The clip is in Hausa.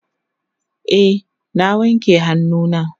e na wanke hannu na